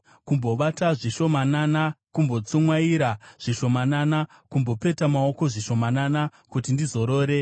Kumbovata zvishomanana, kumbotsumwaira zvishomanana, kumbopeta maoko zvishomanana kuti ndizorore.